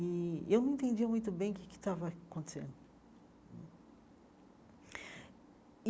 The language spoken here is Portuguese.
E eu não entendia muito bem o que é que estava acontecendo e.